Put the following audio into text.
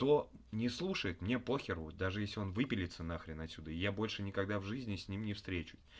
то не слушает мне похеру даже если он выпилиться на хрен отсюда и я больше никогда в жизни с ним не встречусь